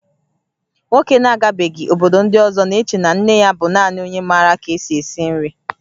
Nwoke na-agabeghị obodo ndị ọzọ na-eche na nne ya bụ naanị onye maara ka-esi esi nri